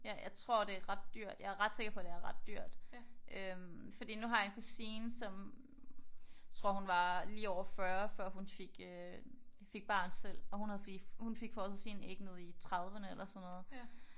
Ja jeg tror det er ret dyrt. Jeg er ret sikker på at det er ret dyrt. Øh fordi nu har jeg en kusine som tror hun var lige over 40 før hun fik øh fik barn selv og hun fik frosset sine æg ned i 30'erne eller sådan noget